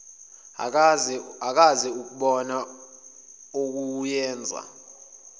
akaze akubona okuyenza